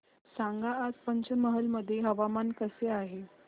सांगा आज पंचमहाल मध्ये हवामान कसे आहे